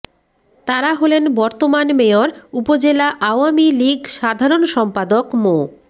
তারা হলেন বর্তমান মেয়র উপজেলা আওয়ামী লীগ সাধারণ সম্পাদক মো